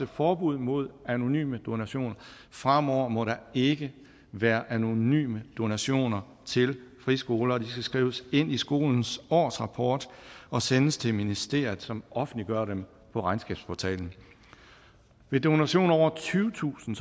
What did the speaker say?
forbud mod anonyme donationer fremover må der ikke være anonyme donationer til friskoler og donationer skal skrives ind i skolens årsrapport og sendes til ministeriet som offentliggør dem på regnskabsportalen ved donationer på over tyvetusind